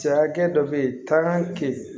Cɛ hakɛ dɔ bɛ yen taa kɛ yen